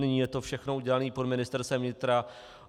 Nyní je to všechno udělané pod Ministerstvem vnitra.